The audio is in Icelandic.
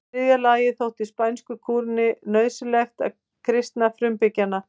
Í þriðja lagi þótti spænsku krúnunni nauðsynlegt að kristna frumbyggjana.